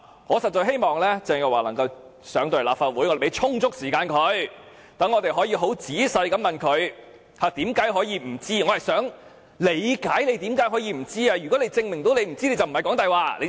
我實在希望鄭若驊能夠前來立法會，讓我們可以仔細地問她為何可以不知道該地庫是僭建物，我們會給她充足時間解釋。